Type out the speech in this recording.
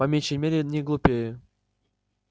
по меньшей мере не глупее